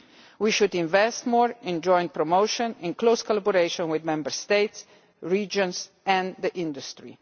We should invest more in joint promotion in close collaboration with Member States, regions and the industry.